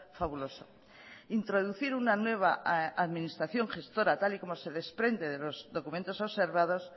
fabuloso introducir una nueva administración gestora tal y como se desprende de los documentos observados